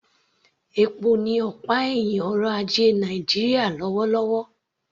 Epo ni ọ̀pá ẹ̀hìn ọrọ̀ ajé Nàìjíríà lọ́wọ́lọ́wọ́